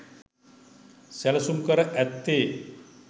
සැලසුම් කර ඇත්තේ